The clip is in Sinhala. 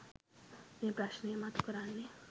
මේ ප්‍රශ්නය මතු කරන්නේ.